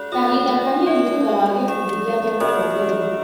Kahinda kanini thutha wa gĩkundi gĩake gũtongoria.